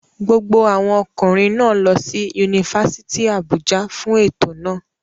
Gbogbo àwọn ọkùnrin náà lọ sí Yunifásítì Àbújá fún ètò náà.